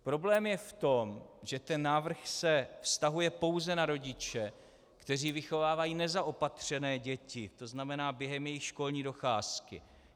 Problém je v tom, že ten návrh se vztahuje pouze na rodiče, kteří vychovávají nezaopatřené děti, to znamená během jejich školní docházky.